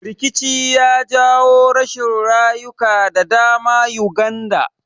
Rikici ya jawo rashin rayuka da dama Uganda